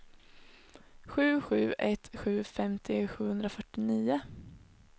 sju sju ett sju femtio sjuhundrafyrtionio